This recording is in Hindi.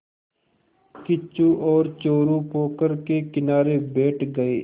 किच्चू और चोरु पोखर के किनारे बैठ गए